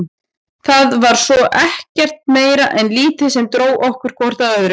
Það var sko ekkert meira en lítið sem dró okkur hvort að öðru.